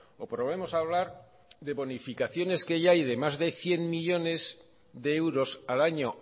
o probemos a hablar de bonificaciones que ya hay de más de cien millónes de euros al año